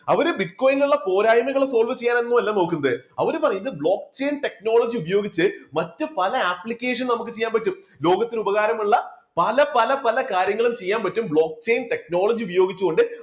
അവര് bitcoin നിന്ന് ഉള്ള പോരായ്മകളെ solve ചെയ്യാൻ ഒന്നുമല്ല നോക്കുന്നത് അവര് പറയുന്നത് block chain technology ഉപയോഗിച്ച് മറ്റ് പല application നമുക്ക് ചെയ്യാൻ പറ്റും. ലോകത്തിനു ഉപകാരമുള്ള പല പല പല കാര്യങ്ങളും ചെയ്യാൻ പറ്റും block chain technology ഉപയോഗിച്ചുകൊണ്ട്